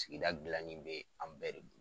Sigida gilanni bɛ an bɛɛ